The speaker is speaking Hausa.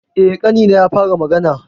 Eh, ƙanina ya fara magana.